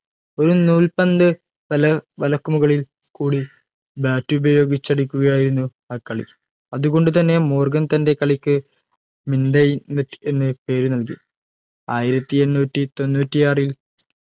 ഒരു നൂൽപന്ത് വല വലക്കുമുകളിൽ കൂടി bat ഉപയോഗിച്ചടിക്കുകയായിരുന്നു ആ കളി അത് കൊണ്ട് തന്നെ മോർഗൻ തൻറെ കളിക്ക് mintonette എന്ന് പേര് നൽകി ആയിരത്തി എണ്ണൂറ്റി തൊണ്ണൂറ്റിയാറിൽ